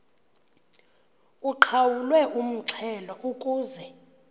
uqhawulwe umxhelo ukuze